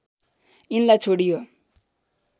यिनलाई छोडियो